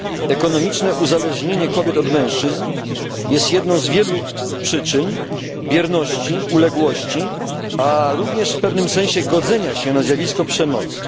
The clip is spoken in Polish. Ekonomiczne uzależnienie kobiet od mężczyzn jest jedną z wielu przyczyn bierności, uległości, a również w pewnym sensie godzenia się na zjawisko przemocy.